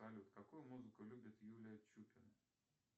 салют какую музыку любит юлия чупина